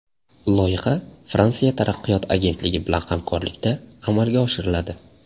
Loyiha Fransiya taraqqiyot agentligi bilan hamkorlikda amalga oshiriladi.